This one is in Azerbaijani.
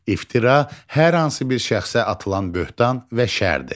İftira hər hansı bir şəxsə atılan böhtan və şərdir.